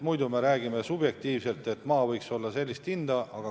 Muidu me räägime subjektiivselt, et maa võiks maksta sellist või sellist hinda.